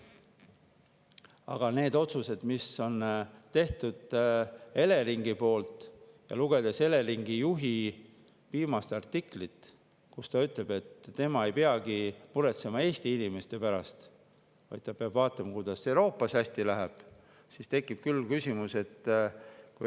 Aga otsuseid, mis on tehtud Eleringi poolt, ja lugedes Eleringi juhi viimast artiklit, kus ta ütleb, et tema ei peagi muretsema Eesti inimeste pärast, vaid ta peab vaatama, et Euroopas hästi läheks, tekib küll küsimusi.